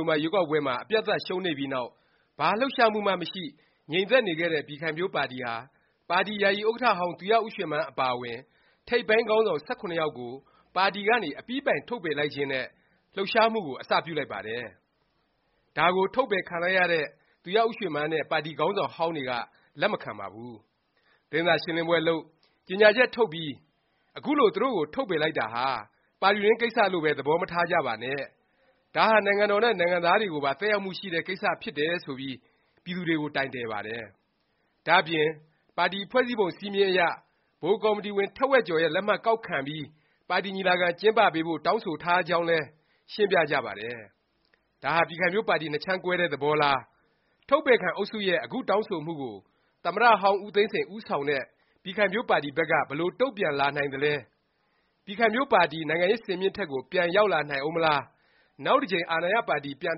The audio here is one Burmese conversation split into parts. ုဝင်ဘာ ရွေးကောက်ပွဲမှာ အပြတ်အသတ် ရှုံးနိမ့်ပြီးနောက် ဘာ လှုပ်ရှားမှုမှ မရှိ၊ ငြိမ်သက်နေခဲ့တဲ့ ပြည်ခိုင်ဖြိုးပါတီဟာ ပါတီ ယာယီဥက္ကဌဟောင်း သူရဦးရွှေမန်း အပါအဝင် ထိပ်ပိုင်းခေါင်းဆောင် ၁၇ ယောက်ကို ပါတီကနေ အပြီးအပိုင် ထုတ်ပယ်လိုက်ခြင်းနဲ့ လှုပ်ရှားမှုကို အစပြုလိုက်ပါတယ်။ ဒါကို ထုတ်ပယ်ခံလိုက်ရတဲ့ သူရဦးရွှေမန်းနဲ့ ပါတီခေါင်းဆောင်ဟောင်းတွေက လက်မခံပါဘူး။ သတင်းစာရှင်းလင်းပွဲလုပ်၊ ကြေငြာချက် ထုတ်ပြီး အခုလို သူတို့ကို ထုတ်ပယ်လိုက်တာဟာ ပါတီတွင်းကိစ္စလို့ပဲ သဘောမထားကြပါနဲ့၊ ဒါဟာ နိုင်ငံတော်နဲ့ နိုင်ငံသားတွေကိုပါ သက်ရောက်မှုရှိတဲ့ ကိစ္စ ဖြစ်တယ် ဆိုပြီး ပြည်သူတွေကို တိုင်တယ်ပါတယ်။ ဒါ့အပြင် ပါတီဖွဲ့စည်းပုံ စဉ်းမျဉ်းအရ ဗဟိုကော်မတီဝင် ထက်ဝက်ကျော်ရဲ့ လက်မှတ်ကောက်ခံပြီး ပါတီညီလာခံ ကျင်းပပေးဖို့ တောင်းဆိုထားကြောင်းလည်း ရှင်းပြကြပါတယ်။ ဒါဟာ ပြည်ခိုင်ဖြိုးပါတီ နှစ်ခြမ်းကွဲတဲ့ သဘောလား၊ ထုတ်ပယ်ခံ အုပ်စုရဲ့ အခုတောင်းဆိုမှုကို သမ္မတဟောင်း ဦးသိန်းစိန် ဦးဆောင်တဲ့ ပြည်ခိုင်ဖြိုးပါတီဘက်က ဘယ်လို တုန့်ပြန် လာနိုင်သလဲ၊ ပြည်ခိုင်ဖြိုးပါတီ နိုင်ငံရေး စင်မြင့်ထက်ကို ပြန်ရောက်လာနိုင်ဦးမလား၊ နောက်တစ်ကြိမ် အာဏာရပါတီ ပြန်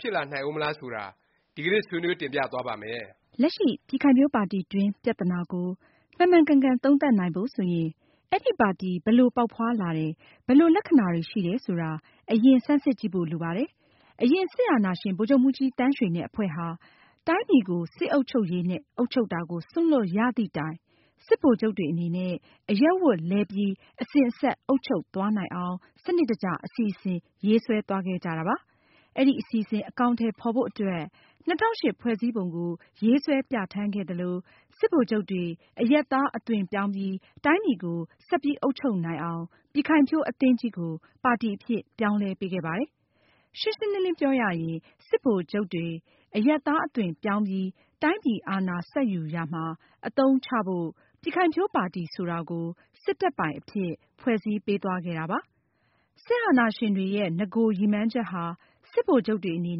ဖြစ်လာနိုင်ဦးမလား ဆိုတာ ဒီကနေ့ ဆွေးနွေး တင်ပြသွားပါ့မယ်။ လက်ရှိ ပြည်ခိုင်ဖြိုးပါတီတွင်း ပြသနာကို မှန်မှန်ကန်ကန် သုံးသပ်နိုင်ဖို့ ဆိုရင် အဲဒီပါတီ ဘယ်လို ပေါက်ဖွားလာတယ်၊ ဘယ်လို သဘောလက္ခဏာရှိတယ် ဆိုတာ အရင် ဆန်းစစ်ကြည့်ဖို့ လိုပါတယ်။ အရင် စစ်အာဏာရှင် ဗိုလ်ချုပ်မှူးကြီးသန်းရွှေနဲ့ အဖွဲ့ဟာ တိုင်းပြည်ကို စစ်အုပ်ချုပ်ရေးနဲ့ အုပ်ချုပ်တာကို စွန့်လွှတ်ရသည့်တိုင် စစ်ဗိုလ်ချုပ်တွေအနေနဲ့ အရပ်ဝတ်လဲပြီး အစဉ်အဆက် အုပ်ချုပ်သွားနိုင်အောင် စနစ်တကျ အစီအစဉ် ရေးဆွဲသွားခဲ့ကြတာပါ။ အဲဒီ အစီအစဉ် အကောင်အထည် ဖော်ဖို့အတွက် ၂၀၀၈ ဖွဲ့စည်းပုံကို ရေးဆွဲ ပြဌာန်းခဲ့သလို၊ စစ်ဗိုလ်ချုပ်တွေ အရပ်သား အသွင်ပြောင်းပြီး တိုင်းပြည်ကို ဆက်အုပ်ချုပ်နိုင်အောင် ပြည်ခိုင်ဖြိုးအသင်းကြီးကို ပါတီအဖြစ် ပြောင်းလဲပေးခဲ့ပါတယ်။ ရှင်းရှင်းလင်းလင်း ပြောရရင် စစ်ဗိုလ်ချုပ်တွေ အရပ်သားအသွင်ပြောင်းပြီး တိုင်းပြည်အာဏာ ဆက်ယူရာမှာ အသုံးချဖို့ ပြည်ခိုင်ဖြိုးပါတီဆိုတာကို စစ်တပ်ပိုင် အဖြစ် ဖွဲ့စည်းပေးသွားခဲ့တာပါ။ စစ်အာဏာရှင်တွေရဲ့ နဂို ရည်မှန်းချက်ဟာ စစ်ဗိုလ်ချုပ်တွေ အနေ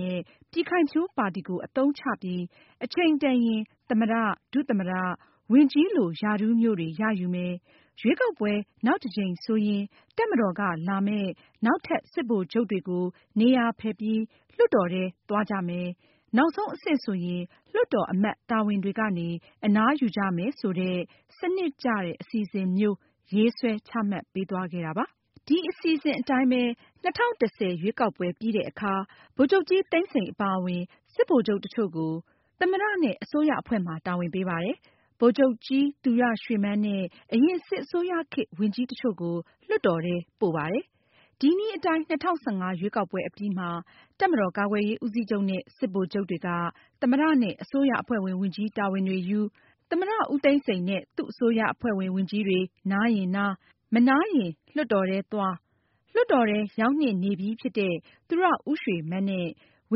နဲ့ ပြည်ခိုင်ဖြိုးပါတီကို အသုံးချပြီး အချိန်တန်ရင် သမ္မတ၊ ဒုသမ္မတ၊ ဝန်ကြီးလို ရာထူးမျိုးတွေ ရယူမယ်၊ ရွေးကောက်ပွဲ နောက်တစ်ကြိမ် ဆိုရင် တပ်မတော်က လာမယ့် နောက်ထပ် စစ်ဗိုလ်ချုပ်တွေကို နေရာဖယ်ပေးပြီး လွှတ်တော်ထဲ သွားကြမယ်၊ နောက်ဆုံး အဆင့်ဆိုရင် လွှတ်တော်အမတ် တာဝန်တွေကနေ အနားယူကြမယ် ဆိုတဲ့ စနစ်ကျတဲ့ အစီအစဉ်မျိုး ရေးဆွဲချမှတ်ပေးသွားခဲ့တာပါ။ ဒီ အစီအစဉ်အတိုင်းပဲ ၂၀၁၀ ရွေးကောက်ပွဲပြီးတဲ့အခါ ဗိုလ်ချုပ်ကြီးသန်းစိန် အပါအဝင် စစ်ဗိုလ်ချုပ် တစ်ချို့ကို သမ္မတ နဲ့ အစိုးရအဖွဲ့မှာ တာဝန်ပေးပါတယ်။ ဗိုလ်ချုပ်ကြီးသူရရွှေမန်းနဲ့ အရင် စစ်အစိုးရခေတ် ဝန်ကြီးတစ်ချို့ကို လွှတ်တော်ထဲ ပို့ပါတယ်။ ဒီနည်းအတိုင်း ၂၀၁၅ ရွေးကောက်ပွဲအပြီးမှာ တပ်မတော် ကာကွယ်ရေးဦးစီးချုပ်နဲ့ စစ်ဗိုလ်ချုပ်တွေက သမ္မတ နဲ့ အစိုးရအဖွဲ့ဝင် ဝန်ကြီးတာဝန်တွေယူ၊ သမ္မတဦးသိန်းစိန်နဲ့ သူ့အစိုးရအဖွဲ့ဝင် ဝန်ကြီးတွေ နားရင်နား၊ မနားရင်လွှတ်တော်ထဲသွား၊ လွှတ်တော်ထဲ ရောက်နှင့်နေပြီးဖြစ်တဲ့ သူရဦးရွှေမန်းနဲ့ ဝ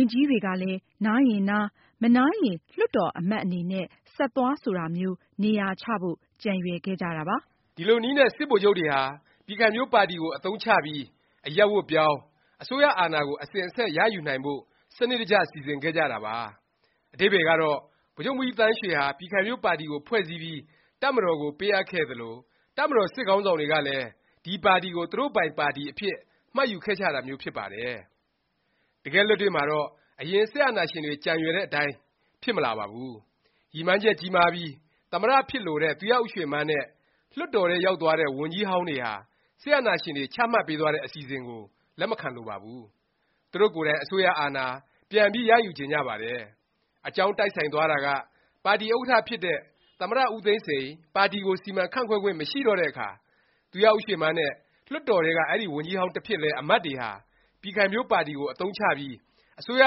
န်ကြီးတွေကလည်း နားရင်နား၊ မနားရင် လွှတ်တော်အမတ်အနေနဲ့ ဆက်သွား ဆိုတာမျိုး နေရာချဖို့ ကြံရွယ်ခဲ့ကြတာပါ။ ဒီလိုနည်းနဲ့ စစ်ဗိုလ်ချုပ်တွေဟာ ပြည်ခိုင်ဖြိုးပါတီကို အသုံးချပြီး အရပ်ဝတ်ပြောင်း၊ အစိုးရအာဏာကို အစဉ်အဆက် ရယူနိုင်ဖို့ စနစ်တကျ စီစဉ်ခဲ့ကြတာပါ။ အဓိပ္ပါယ်ကတော့ ဗိုလ်ချုပ်မှူးကြီးသန်းရွှေဟာ ပြည်ခိုင်ဖြိုးပါတီကို ဖွဲ့စည်းပြီး တပ်မတော်ကို ပေးအပ်ခဲ့သလို၊ တပ်မတော် စစ်ခေါင်းဆောင်တွေကလည်း ဒီပါတီကို သူတို့ပိုင် ပါတီအဖြစ် မှတ်ယူခဲ့ကြတာမျိုး ဖြစ်ပါတယ်။ တကယ့်လက်တွေ့မှာတော့ အရင် စစ်အာဏာရှင်တွေ ကြံရွယ်တဲ့အတိုင်း ဖြစ်မလာပါဘူး။ ရည်မှန်းချက်ကြီးမားပြီး သမ္မတ ဖြစ်လိုတဲ့ သူရဦးရွှေမန်းနဲ့ လွှတ်တော်ထဲ ရောက်သွားတဲ့ ဝန်ကြီးဟောင်းတွေဟာ စစ်အာဏာရှင်တွေ ချမှတ်ပေးသွားတဲ့ အစီအစဉ်ကို လက်မခံလိုပါဘူး။ သူတို့ကိုယ်တိုင် အစိုးရ အာဏာ ပြန်ပြီး ရယူချင်ကြပါတယ်။ အကြောင်းတိုက်ဆိုင်သွားတာက ပါတီဥက္ကဌ ဖြစ်တဲ့ သမ္မတ ဦးသိန်းစိန် ပါတီကို စီမံခန့်ခွဲခွင့် မရှိတဲ့အခါ သူရဦးရွှေမန်းနဲ့ လွှတ်တော်ထဲက အဲဒီ ဝန်ကြီးဟောင်းတစ်ဖြစ်လဲ အမတ်တွေဟာ ပြည်ခိုင်ဖြိုးပါတီကို အသုံးချပြီး အစိုးရ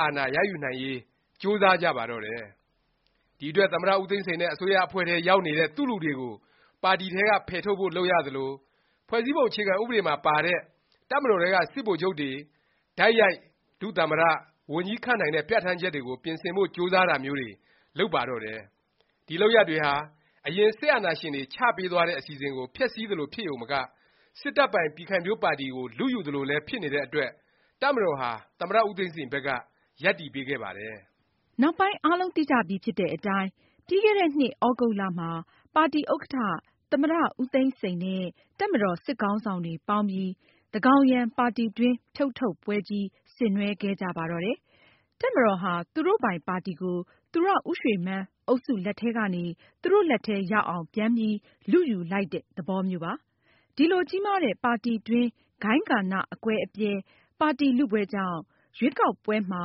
အာဏာ ရယူနိုင်ရေး ကြိုးစားကြပါတော့တယ်။ ဒီအတွက် သမ္မတ ဦးသိန်းစိန်နဲ့ အစိုးရအဖွဲ့ထဲ ရောက်နေတဲ့ သူ့လူတွေကို ပါတီထဲက ဖယ်ထုတ်ဖို့ လုပ်ရသလို၊ ဖွဲ့စည်းပုံ အခြေခံ ဥပဒေမှာပါတဲ့ တပ်မတော်ထဲက စစ်ဗိုလ်ချုပ်တွေ တိုက်ရိုက် ဒုသမ္မတ၊ ဝန်ကြီး ခန့်အပ်နိုင်တဲ့ ပြဌာန်းချက်ကို ပြင်ဆင်ဖို့ ကြိုးစားတာမျိုးတွေ လုပ်ပါတော့တယ်။ ဒီလုပ်ရပ်တွေဟာ အရင် စစ်အာဏာရှင်တွေ ချပေးသွားတဲ့ အစီအစဉ်ကို ဖျက်ဆီးသလို ဖြစ်ရုံမက စစ်တပ်ပိုင် ပြည်ခိုင်ဖြိုးပါတီကို လုယူသလိုလည်း ဖြစ်နေတဲ့အတွက် တပ်မတော်ဟာ သမ္မတဦးသိန်းစိန် ဘက်က ရပ်တည်ပေးခဲ့ပါတယ်။ နောက်ပိုင်း အားလုံးသိကြပြီဖြစ်တဲ့အတိုင်း ပြီးခဲ့တဲ့နှစ် သြဂုတ်လ မှာ ပါတီဥက္ကဌ သမ္မတ ဦးသိန်းစိန်နဲ့ တပ်မတော် စစ်ခေါင်းဆောင်တွေ ပေါင်းပြီး သန်းခေါင်ယံ ပါတီတွင်း ဖြုတ်ထုတ်ပွဲကြီး ဆင်နွှဲခဲ့ကြပါတော့တယ်။ တပ်မတော်ဟာ သူတို့ပိုင် ပါတီကို သူရဦးရွှေမန်း အုပ်စုလက်ထဲကနေ သူတို့လက်ထဲ ရောက်အောင် ပြန်ပြီး လုယူလိုက်တဲ့ သဘောမျိုးပါ။ ဒီလို ကြီးမားတဲ့ ပါတီတွင်း ဂိုဏ်းဂဏ အကွဲအပြဲ၊ ပါတီ လုပွဲကြောင့် ရွေးကောက်ပွဲမှာ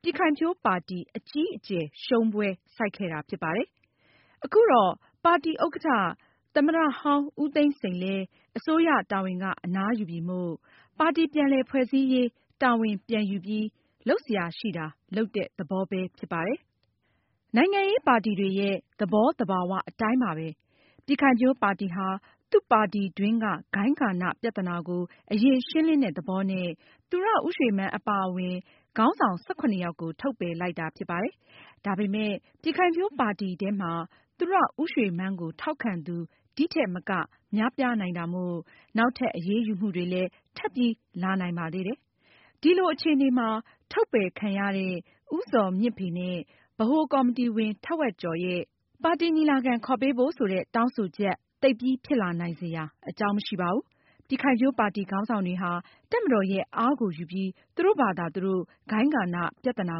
ပြည်ခိုင်ဖြိုးပါတီ အကြီးအကျယ် ရှုံးပွဲ ဆိုက်ခဲ့တာ ဖြစ်ပါတယ်။ ခုတော့ ပါတီဥက္ကဌ သမ္မတဟောင်းဦးသိန်းစိန်လဲ အစိုးရတာဝန်က အနားရပြီမို့ ပါတီ ပြန်လည် ဖွဲ့စည်းရေးတာဝန် ပြန်ယူပြီး လုပ်စရာရှိတာ လုပ်တဲ့ သဘောပဲဖြစ်ပါတယ်။ နိုင်ငံရေးပါတီတွေရဲ့ သဘောသဘာ၀ အတိုင်းပါပဲ၊ ပြည်ခိုင်ဖြိုးပါတီဟာ သူ့ပါတီတွင်းက ဂိုဏ်းဂဏ ပြသနာကို အရင် ရှင်းလင်းတဲ့ သဘောနဲ့ သူရဦးရွှေမန်း ပါအဝင် ခေါင်းဆောင် ၁၇ ယောက်ကို ထုတ်ပယ်လိုက်တာ ဖြစ်ပါတယ်။ ဒါပေမယ့် ပြည်ခိုင်ဖြိုးပါတီထဲမှာ သူရဦးရွှေမန်းကို ထောက်ခံသူ ဒီထက်မက များပြားနိုင်တာမို့ နောက်ထပ် အရေးယူမှုတွေလည်း ထပ်ပြီး လာနိုင်ပါသေးတယ်။ ဒီလို အခြေအနေမှာ ထုတ်ပယ်ခံရတဲ့ ဦးဇော်မြင့်ဖေ နဲ့ ဗဟိုကော်မတီဝင် ထက်ဝက်ကျော်ရဲ့ ပါတီညီလာခံ ခေါ်ပေးဖို့ ဆိုတဲ့ တောင်းဆိုချက် သိပ်ပြီး ဖြစ်လာနိုင်စရာ အကြောင်းမရှိပါဘူး။ ပြည်ခိုင်ဖြိုးပါတီ ခေါင်းဆောင်တွေဟာ တပ်မတော်ရဲ့ အားကိုယူပြီး သူတို့ဖာသာ သူတို့ ဂိုဏ်းဂဏ ပြသနာ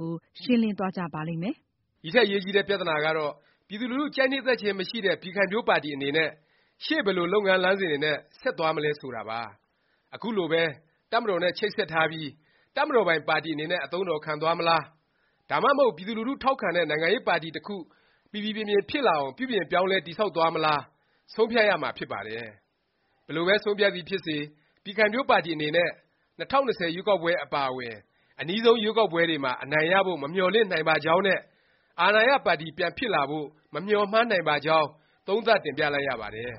ကို ရှင်းလင်းသွားကြပါလိမ့်မယ်။ ဒီထက် အရေးကြီးတဲ့ ပြသနာကတော့ ပြည်သူလူထု ကြိုက်နှစ်သက်ခြင်း မရှိတဲ့ ပြည်ခိုင်ဖြိုးပါတီ အနေနဲ့ ရှေ့ ဘယ်လို လုပ်ငန်း လမ်းစဉ်တွေနဲ့ ဆက်သွားမလဲ ဆိုတာပါ။ အခုလိုပဲ တပ်မတော်နဲ့ ချိတ်ဆက်ထားပြီး တပ်မတော်ပိုင် ပါတီ အနေနဲ့ အသုံးတော်ခံသွားမလား၊ ဒါမှမဟုတ် ပြည်သူလူထု ထောက်ခံတဲ့ နိုင်ငံရေးပါတီ တစ်ခု ပီပီပြင်ပြင် ဖြစ်လာအောင် ပြုပြင်ပြောင်းလဲ တည်ဆောက်သွားမလား ဆုံးဖြတ်ရမှာဖြစ်ပါတယ်။ ဘယ်လိုပဲ ဆုံးဖြတ်သည်ဖြစ်စေ ပြည်ခိုင်ဖြိုးပါတီ အနေနဲ့ ၂၀၂၀ ရွေးကောက်ပွဲ အပါအဝင် အနီးဆုံး ရွေးကောက်ပွဲတွေမှာ အနိုင်ရဖို့ မမျှော်လင့်နိုင်ပါကြောင်းနဲ့ အာဏာရပါတီ ပြန်ဖြစ်လာဖို့ မမျှော်မှန်းနိုင်ပါကြောင်း သုံးသပ်တင်ပြလိုက်ရပါတယ်